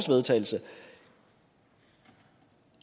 vedtagelse og